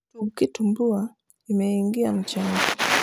tug kitumbua kimeingia mchanga